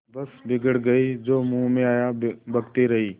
बस बिगड़ गयीं जो मुँह में आया बकती रहीं